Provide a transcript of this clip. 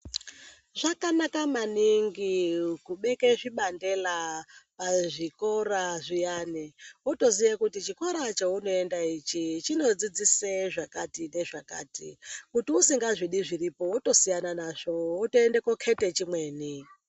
Zvakanaka maningi kubeke zvibandela pazvikora zviyani wotoziye kuti chikora cheunonda ichi chinodzidzise zvakati nezvakati. Kuti usingazvidi zviripo wotosiyana nazvo wotoende kokhete chimweni.